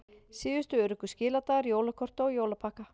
Síðustu öruggu skiladagar jólakorta og jólapakka